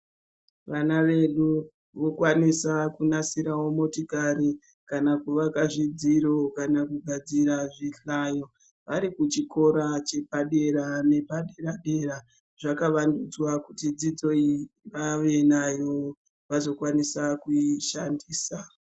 Vana vedu vokwanisa kunasirawo motikari, kana kuvaka zvidziro, kana kugadzira zvihlayo vari kuchikora chepadera nepadera-dera. Zvakavandudzwa kuti dzidzo iyi vave nayo, vazokwanisa kuishandisa.